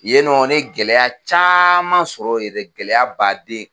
Yen nɔ ne ye gɛlɛya caaman sɔrɔ yen dɛ gɛlɛya baaden